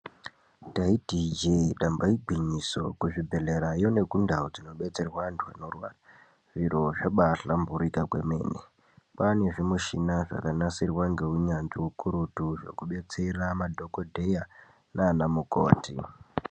Ndaiti injee, damba igwinyiso, kuzvibhedhlerayo nekundau dzinodetserwaa vantu vanorwaraa, zviro zvabaa hlamburika kwemene, kwaa nezvimushina zvakanasirwaa ngounyanzvi hukurutu zvokudetsera madhokodheyaa nanamukoti.